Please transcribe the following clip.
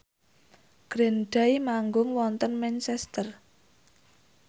Green Day manggung wonten Manchester